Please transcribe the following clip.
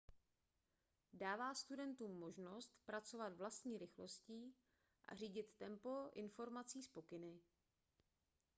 dává studentům možnost pracovat vlastní rychlostí a řídit tempo informací s pokyny